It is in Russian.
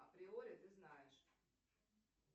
априори ты знаешь